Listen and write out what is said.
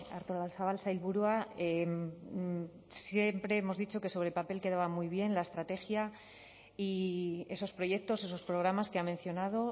artolazabal sailburua siempre hemos dicho que sobre el papel quedaba muy bien la estrategia y esos proyectos esos programas que ha mencionado